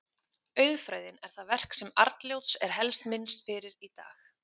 Auðfræðin er það verk sem Arnljóts er helst minnst fyrir í dag.